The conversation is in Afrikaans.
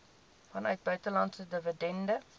vanuit buitelandse dividende